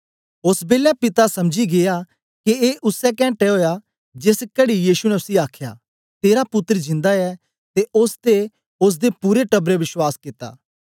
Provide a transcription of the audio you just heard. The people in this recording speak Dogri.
ओस बेलै पिता समझी गीया के ए उसै केन्टे ओया जेस कहड़ी यीशु ने उसी आखया तेरा पुत्तर जिंदा ऐ ते ओस ते ओसदे पूरे टबरै बश्वास कित्ता